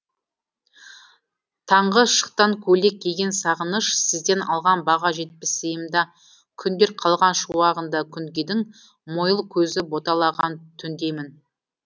таңғы шықтан көйлек киген сағыныш сізден алған баға жетпес сыйым да күндер қалған шуағында күнгейдің мойыл көзі боталаған түндеймін